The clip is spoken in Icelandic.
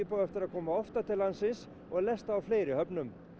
á eftir að koma oftar til landsins og lesta í fleiri höfnum